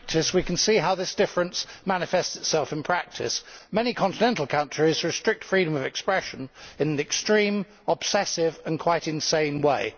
We can see how this difference manifests itself in practice many continental countries restrict freedom of expression in an extreme, obsessive and quite insane way.